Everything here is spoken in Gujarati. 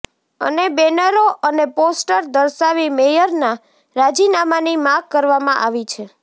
અને બેનરો અને પોસ્ટર દર્શાવી મેયરના રાજીનામાની માગ કરવામાં આવી છે